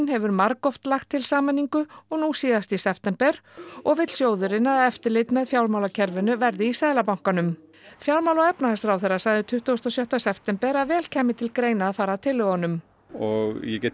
hefur margoft lagt til sameiningu og nú síðast í september og vill sjóðurinn að eftirlit með fjármálakerfinu verði í Seðlabankanum fjármála og efnahagsráðherra sagði tuttugasta og sjötta september að vel kæmi til greina að fara að tillögunum og ég get